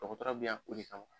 Dɔgɔtɔrɔ bɛ yan o de kama.